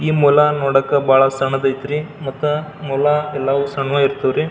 ಈ ಮೊಲಾನ್ ನೋಡಕ್ ಬಹಳ್ ಸಣ್ಣ ದೈತ್ರಿ ಮತ್ತ ಮೊಲಾ ಎಲ್ಲಾವು ಸಣ್ಣವ್ ಇರ್ತ್ತವರಿ.